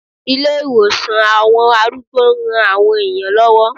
Ilé ìtọ́jú àwọn arúgbó ń ran àwọn èèyàn lọ́wọ́